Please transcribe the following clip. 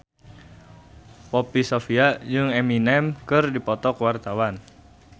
Poppy Sovia jeung Eminem keur dipoto ku wartawan